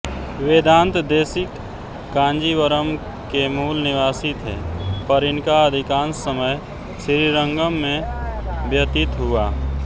वेदांत देशिक कांजीवरम् के मूल निवासी थे पर इनका अधिकांश समय श्रीरंगम् में व्यतीत हुआ